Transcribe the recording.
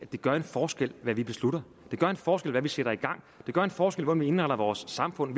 det gør en forskel hvad vi beslutter det gør en forskel hvad vi sætter i gang det gør en forskel hvordan vi indretter vores samfund